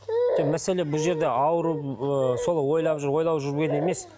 мәселе бұл жерде ауырып ыыы сол ойлап ойлап жүрген емес